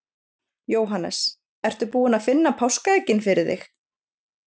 Jóhannes: Ertu búin að finna páskaeggin fyrir þig?